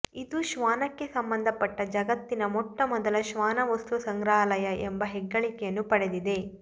ಇದು ಶ್ವಾನಕ್ಕೆ ಸಂಬಂಧಪಟ್ಟ ಜಗತ್ತಿನ ಮೊಟ್ಟ ಮೊದಲ ಶ್ವಾನ ವಸ್ತು ಸಂಗ್ರಹಾಲಯ ಎಂಬ ಹೆಗ್ಗಳಿಕೆಯನ್ನೂ ಪಡೆದಿದೆ